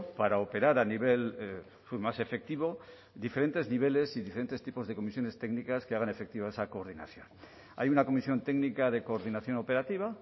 para operar a nivel más efectivo diferentes niveles y diferentes tipos de comisiones técnicas que hagan efectiva esa coordinación hay una comisión técnica de coordinación operativa